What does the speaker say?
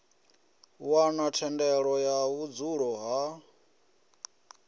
wana thendelo ya vhudzulo ha